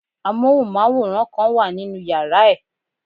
Amóhùnmáwòrán kan wà nínu yàrá ẹ̀.